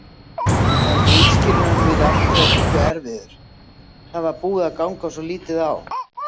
Var viðskilnaðurinn við Aftureldingu erfiður, það var búið að ganga svolítið á?